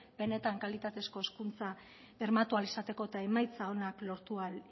benetan kalitatezko hezkuntza bermatu ahal izateko eta emaitza onak lortu ahal